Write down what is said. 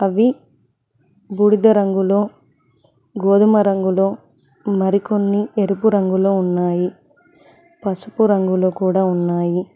ఇవి బూడిద రంగులో గోధుమ రంగులో మరికొన్ని ఎరుపు రంగులో ఉన్నాయి పసుపు రంగులో కూడ ఉన్నాయి.